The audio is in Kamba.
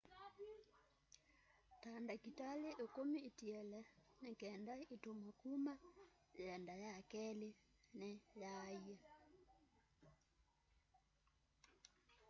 ta ndatĩka ĩkũmi itiele nĩkenda ĩtuwe kũma yĩenda ya kelĩ nĩ yaaie